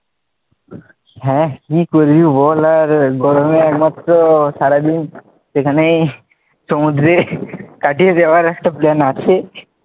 হ্যাঁ কি করবি বল আর গরমে একমাত্র সারাদিন সেখানেই সমুদ্রে কাটিয়ে দেওয়ার একটা plan আছে.